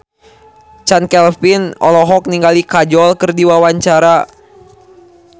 Chand Kelvin olohok ningali Kajol keur diwawancara